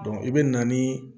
i bɛ na ni